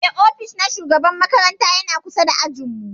Eh, ofis na shugaban makaranta ya na kusa da ajin mu.